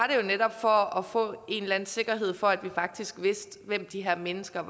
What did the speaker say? netop for at få en eller anden sikkerhed for at vi faktisk ved hvem de her mennesker